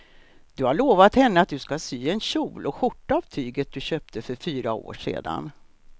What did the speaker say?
Du har lovat henne att du ska sy en kjol och skjorta av tyget du köpte för fyra år sedan.